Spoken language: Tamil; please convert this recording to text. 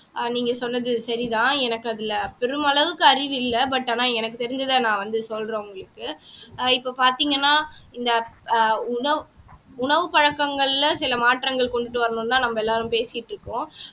ஆஹ் நீங்க சொன்னது சரிதான் எனக்கு அதுல பெருமளவுக்கு அறிவு இல்ல but ஆனா எனக்கு தெரிஞ்சதை நான் வந்து சொல்றேன் உங்களுக்கு ஆஹ் இப்ப பாத்தீங்கன்னா இந்த ஆஹ் உணவு உணவு பழக்கங்கள்ல சில மாற்றங்கள் கொண்டுட்டு வரணும்ன்னுதான் நம்ம எல்லாரும் பேசிட்டிருக்கோம்